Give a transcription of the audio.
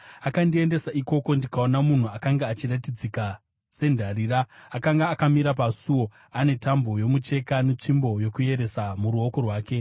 Akandiendesa ikoko, ndikaona munhu akanga achiratidzika sendarira; akanga akamira pasuo ane tambo yomucheka netsvimbo yokueresa muruoko rwake.